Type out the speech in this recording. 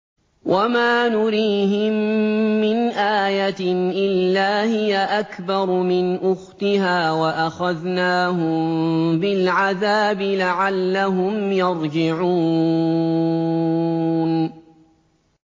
وَمَا نُرِيهِم مِّنْ آيَةٍ إِلَّا هِيَ أَكْبَرُ مِنْ أُخْتِهَا ۖ وَأَخَذْنَاهُم بِالْعَذَابِ لَعَلَّهُمْ يَرْجِعُونَ